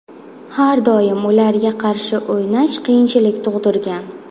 Har doim ularga qarshi o‘ynash qiyinchilik tug‘dirgan.